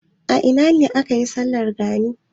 A ina ne ake yin bikin sallar gani?